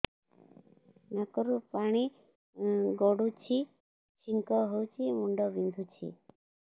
ନାକରୁ ପାଣି ଗଡୁଛି ଛିଙ୍କ ହଉଚି ମୁଣ୍ଡ ବିନ୍ଧୁଛି